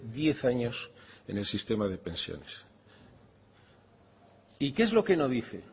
diez años en el sistema de pensiones y qué es lo que no dice